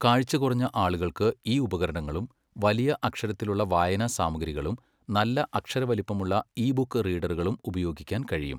കാഴ്ച കുറഞ്ഞ ആളുകൾക്ക് ഈ ഉപകരണങ്ങളും വലിയ അക്ഷരത്തിലുള്ള വായനസാമഗ്രികളും നല്ല അക്ഷരവലിപ്പമുള്ള ഇ ബുക്ക് റീഡറുകളും ഉപയോഗിക്കാൻ കഴിയും.